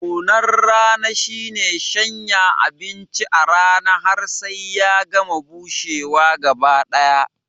Nunar rana shine shanya abinci a rana har sai ya gama bushewa gaba ɗaya